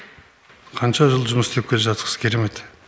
қанша жыл жұмыс істеп келе жатырсыз керемет